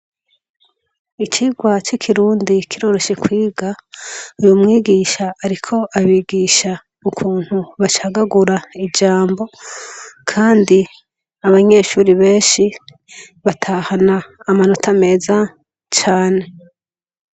Icigwa c'ikirundi kiroroshe kwiga, umwigisha ariko abigisha ukuntu bacagagura ijambo kandi abanyeshure benshi batahana amanota meza cane.